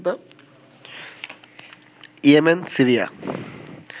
Yemen, Syria